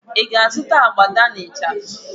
Ị ga-azụta abada na ịchafụ?